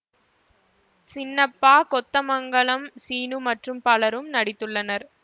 சின்னப்பா கொத்தமங்கலம் சீனு மற்றும் பலரும் நடித்துள்ளனர்